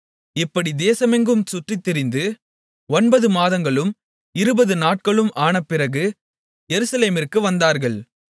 இப்படி தேசமெங்கும் சுற்றித்திரிந்து ஒன்பது மாதங்களும் இருபது நாட்களும் ஆனபிறகு எருசலேமிற்கு வந்தார்கள்